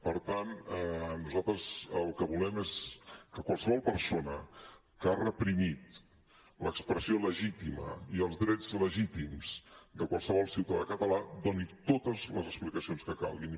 per tant nosaltres el que volem és que qualsevol persona que ha reprimit l’expressió legítima i els drets legítims de qualsevol ciutadà català doni totes les explicacions que calguin